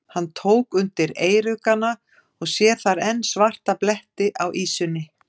Hann tók undir eyruggana og sér þar enn svarta bletti á ýsunni.